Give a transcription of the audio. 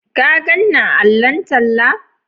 Ka gan ni a allon talla?